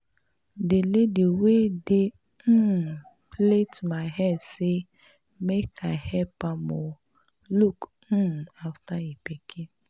The lady wey dey um plait my hair say make I help am um look um after im pikin